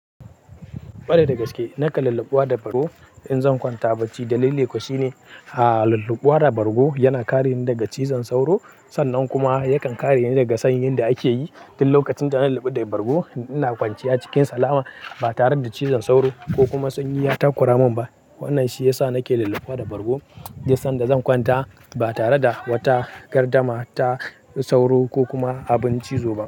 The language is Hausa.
Kwarai da gaske, nakan lullubuwa da bargo in zan kwanta bacci. Dalili kuwa shine, ah lullubuwa da bargo yana kare ni daga cizon sauro. Sannan kuma yakan kare ni daga sanyin da ake yi. Tin lokacin da na lulluɓe da bargo, ina kwanciya cikin salama ba tare da cizon sauro ko kuma sanyi ya takura mun ba. Wannan shi ya sa nake lullubua da bargo, don sanda zan kwanta ba tare da wata gardama ta sauro ko kuma abin cizo ba.